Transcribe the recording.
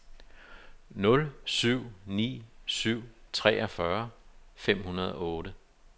nul syv ni syv treogfyrre fem hundrede og otte